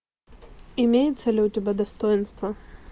имеется ли у тебя достоинство